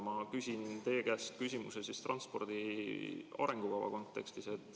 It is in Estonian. Ma küsin teie käest küsimuse transpordi arengukava kontekstis.